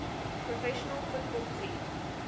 professional football team